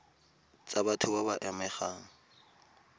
tsa batho ba ba amegang